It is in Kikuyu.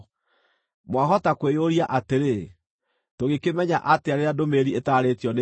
Mwahota kwĩyũria atĩrĩ, “Tũngĩkĩmenya atĩa rĩrĩa ndũmĩrĩri ĩtaarĩtio nĩ Jehova?”